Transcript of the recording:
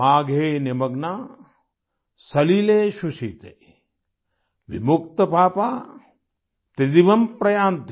माघे निमग्ना सलिले सुशीते विमुक्तपापा त्रिदिवम् प्रयान्ति